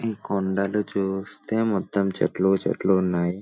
ఈ కొండలు చూస్తే మొత్తం చెట్లు-చెట్లు ఉన్నాయి.